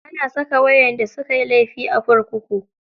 Ana saka waƴanda sukayi laifi a kurkuku.